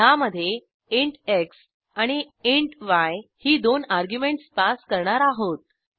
ह्यामधे int x आणि int y ही दोन अर्ग्युमेंटस पास करणार आहोत